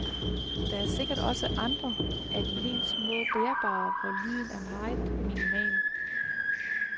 Der er sikkert også andre af de helt små bærbare, hvor lyden er meget minimal.